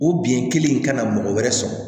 O bin kelen in kana mɔgɔ wɛrɛ sɔrɔ